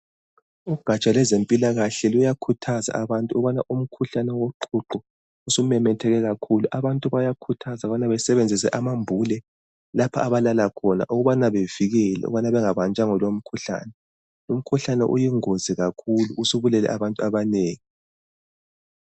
Ugatsha lwezempilakahle luyakhuthaza abantu ukubana umkhuhlane woqhuqho usumemetheke kakhulu. Abantu bayakhuthazwa ukubana besebenzise amambule lapha abalala khona ukubana bevikele ukubana bangabanjwa yilomkhuhlane. Umkhuhlane uyingozi kakhulu usubulele abantu abanengi.